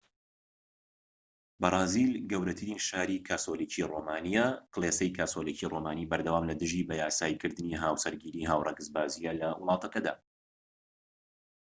بەرازیل گەورەترین شاری کاسۆلیکی رۆمانیە کڵێسەی کاسۆلیکی رۆمانی بەردەوام لە دژی بەیاسایی کردنی هاوسەرگیری هاوڕەگەزبازیە لە وڵاتەکەدا